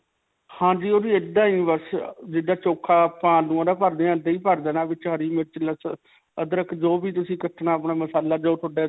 ਹਾਂਜੀ. ਓਹਦੀ ਇੱਦਾਂ ਹੀ ਬਸ, ਅਅ ਜਿੱਦਾਂ ਆਪਾਂ ਆਲੂਆਂ ਦਾ ਭਰਦੇ ਹਾਂ ਇੱਦਾਂ ਹੀ ਭਰ ਦੇਣਾ ਵਿੱਚ ਹਰਿ ਮਿਰਚ. ਲਸਣ, ਅਦਰਕ ਜੋ ਵੀ ਤੁਸੀਂ ਕਟਣਾ ਅਪਣਾ ਮਸਾਲਾ ਜੋ ਤੁਹਾਡੇ.